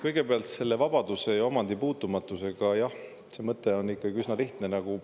Kõigepealt veel vabaduse ja omandi puutumatuse kohta: jah, see mõte on ikkagi üsna lihtne.